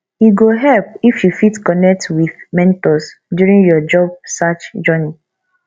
e go help if you fit connect with mentors during your job search journey